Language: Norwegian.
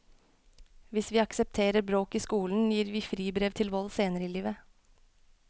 Hvis vi aksepterer bråk i skolen, gir vi fribrev til vold senere i livet.